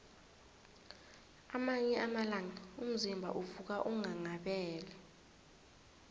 kwamanye amalanga umzimba uvuka unghanghabele